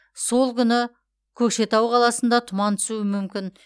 сол күні көкшетау қаласында тұман түсуі мүмкін